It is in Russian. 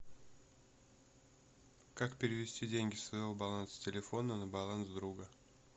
как перевести деньги со своего баланса телефона на баланс друга